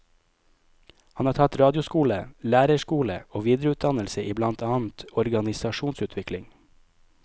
Han har tatt radioskole, lærerskole og videreutdannelse i blant annet organisasjonsutvikling.